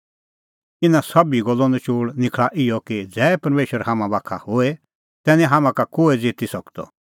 इना सोभी गल्लो नचोल़ निखल़ा इहअ कि ज़ै परमेशर हाम्हां बाखा होए तै निं हाम्हां का कोहै ज़िती सकदअ